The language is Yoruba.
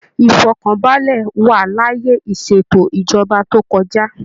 Ifọkanbalẹ wa l'ayé iseètò ìjọba tó kọjá.